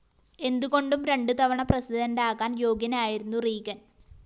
എന്തുകൊണ്ടും രണ്ടുതവണ പ്രസിഡന്റാകാന്‍ യോഗ്യനായിരുന്നു റീഗന്‍